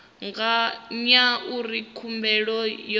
ya ngauri khumbelo yo itwa